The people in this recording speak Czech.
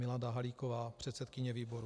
Milada Halíková, předsedkyně výboru."